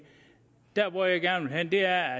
der hvor jeg gerne vil hen er